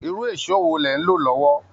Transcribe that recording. Irú èsó wo lẹ̀ ń lò lọ́wọ́